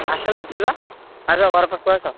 ଆସୁନ ଯିବା। ଆସ ଘର ପାଖକୁ ଆସ।